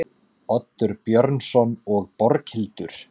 Oddur Björnsson og Borghildur